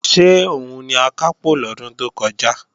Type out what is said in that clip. Ṣé òun ni Akápò lọ́dún tó kọjá?